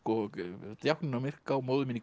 vel djákninn á Myrká móðir mín í